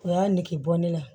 O y'a nege bɔ ne la